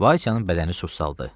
Vaysanın bədəninə su saldı.